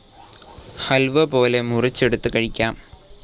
ഹൽവ പോലെ മുറിച്ചെടുത്ത് കഴിക്കാം.